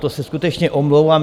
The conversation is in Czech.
To se skutečně omlouvám.